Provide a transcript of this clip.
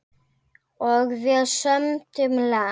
Og við sömdum lag.